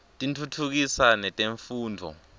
tiftutfukisa netemfundvo